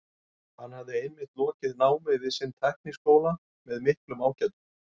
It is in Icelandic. Hann hafði einmitt lokið námi við sinn tækniháskóla með miklum ágætum.